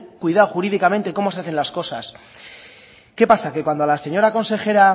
cuidado jurídicamente cómo se hacen las cosas qué pasa que cuando a la señora consejera